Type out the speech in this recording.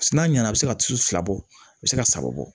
N'a nana a bɛ se ka tulu fila bɔ a bɛ se ka saba bɔ